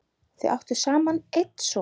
Þau áttu saman einn son.